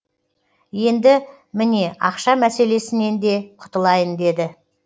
енді міне ақша мәселесінен де құтылайын деді